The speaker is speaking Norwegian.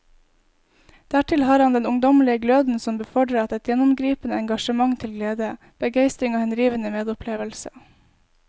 Dertil har han den ungdommelige gløden som befordrer et gjennomgripende engasjement til glede, begeistring og henrivende medopplevelse.